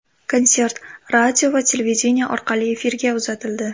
Konsert radio va televideniye orqali efirga uzatildi.